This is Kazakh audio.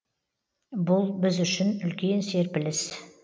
бұл біз үшін үлкен серпіліс